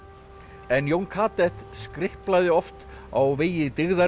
en Jón skriplaði oft á vegi